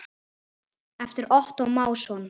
eftir Ottó Másson